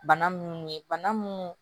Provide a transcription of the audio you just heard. Bana munnu ye bana munnu